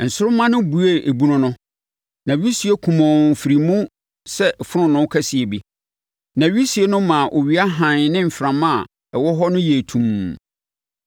Nsoromma no buee ebunu no, na wisie kumɔnn firii mu sɛ fononoo kɛseɛ bi, na wisie no maa owia hann ne mframa a ɛwɔ hɔ no yɛɛ tumm.